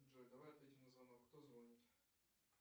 джой давай ответим на звонок кто звонит